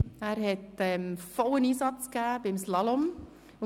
Er hat beim Slalom vollen Einsatz gegeben.